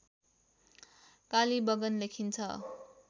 कालीबंगन लेखिन्छ